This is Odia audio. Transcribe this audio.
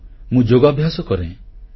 ହଁ ମୁଁ ଯୋଗାଭ୍ୟାସ କରେ